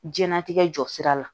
Jɛnatigɛ jɔsira la